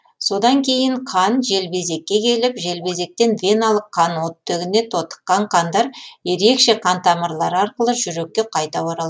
содан кейін қан желбезекке келіп желбезектен веналық қан оттегіне тотыққан қандар ерекше қан тамырлары арқылы жүрекке қайта оралады